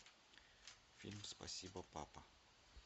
фильм спасибо папа